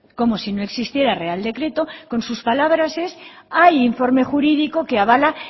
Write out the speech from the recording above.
como si no existiera real decreto con sus palabras es hay informe jurídico que avala